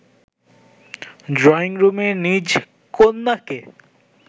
ড্রইংরুমে নিজ কন্যাকে